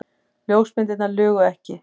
Ljósmyndirnar lugu ekki.